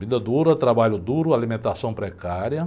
Vida dura, trabalho duro, alimentação precária.